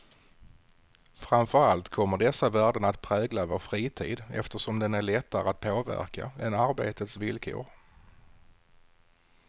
Framför allt kommer dessa värden att prägla vår fritid, eftersom den är lättare att påverka än arbetets villkor.